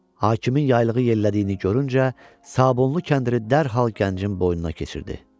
Hakimin yaylığı yerlədiyini görüncə, sabunlu kəndiri dərhal gəncin boynuna keçirdi.